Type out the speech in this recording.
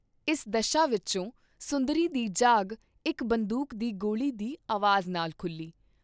ਇਸ ਦਸ਼ਾ ਵਿਚੋਂ ਸੁੰਦਰੀ ਦੀ ਜਾਗ ਇਕ ਬੰਦੂਕ ਦੀ ਗੋਲੀ ਦੀ ਆਵਾਜ ਨਾਲ ਖੁਲ੍ਹੀ।